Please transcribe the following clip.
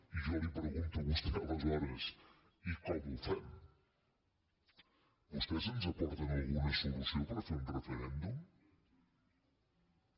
i jo li pregunto a vostè aleshores i com ho fem vostès ens aporten alguna solució per fer un referèndum no